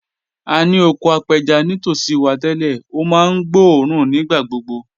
A ní oko apẹja nítòsí wa tẹ́lẹ̀, ó máa ń gbóòórùn nígbà gbogbo